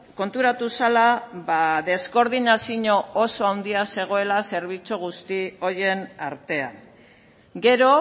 konturatu zela deskoordinazio oso handia zegoela zerbitzu guzti horien artean gero